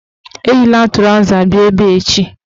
Eyila trọza bịa ebe echi!